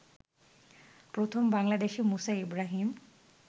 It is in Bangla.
প্রথম বাংলাদেশি মুসা ইব্রাহীম